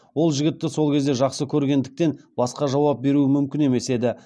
ол жігітті сол кезде жақсы көргендіктен басқа жауап беруім мүмкін емес еді